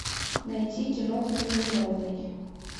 найти киноху невиновный